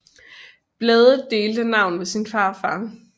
Blædel delte navn med sin farfar